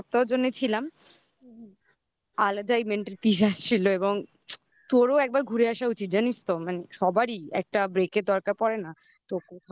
এক সপ্তাহের জন্য ছিলাম আলাদা mental peace আসছিলো এবং তোরও একবার ঘুরে আসা উচিত জানিস তো মানে সবারই একটা break এর দরকার পড়ে না